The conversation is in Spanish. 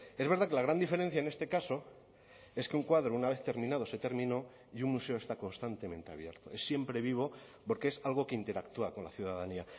es verdad que la gran diferencia en este caso es que un cuadro una vez terminado se terminó y un museo está constantemente abierto es siempre vivo porque es algo que interactúa con la ciudadanía